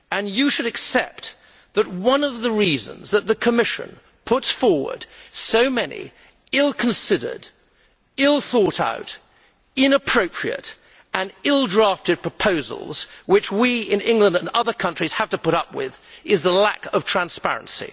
You should accept that one of the reasons that the Commission puts forward so many ill considered, ill thought out, inappropriate and ill drafted proposals, which we in England and other countries have to put up with, is the lack of transparency.